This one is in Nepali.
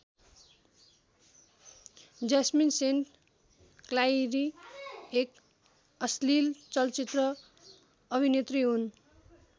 ज्यास्मिन सेन्ट क्लाइरी एक अश्लिल चलचित्र अभिनेत्री हुन्।